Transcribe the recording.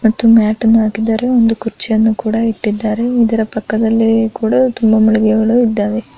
ಒಂದು ಮ್ಯಾಟ್ ಅನ್ನು ಹಾಕಿದ್ದಾರೆ ಒಂದು ಕುರ್ಚಿಯನ್ನು ಕೂಡ ಇಕ್ಕಿದ್ದಾರೆ ಇದರ ಪಕ್ಕದಲ್ಲಿ ಕೂಡ ತುಂಬಾ ಮಳಿಗೆಗಳು ಇದ್ದಾವೆ.